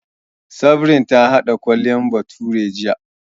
Sabrin ta haɗa Kole bathure jiya